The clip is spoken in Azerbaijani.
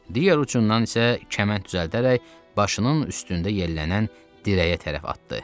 Digər ucundan isə kəmənd düzəldərək başının üstündə yellənən dirəyə tərəf atdı.